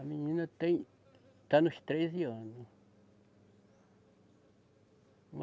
A menina tem, está nos treze anos.